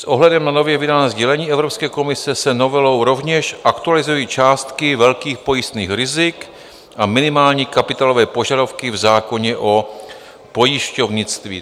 S ohledem na nově vydané sdělení Evropské komise se novelou rovněž aktualizují částky velkých pojistných rizik a minimální kapitálové požadavky v zákoně o pojišťovnictví.